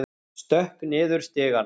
Stökk niður stigana.